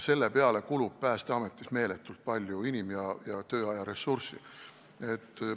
Selle peale kulub Päästeametis meeletult inim- ja tööajaressurssi.